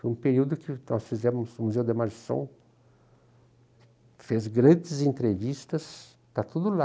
Foi um período que nós fizemos no Museu da Imagem do Som, fez grandes entrevistas, está tudo lá.